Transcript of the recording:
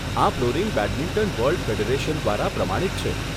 આ flooring badminton world federation દ્વારા પ્રમાણિત છે.